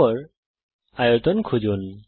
এর পরে আয়তন খুঁজুন